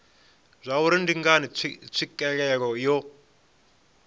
zwauri ndi ngani tswikelelo yo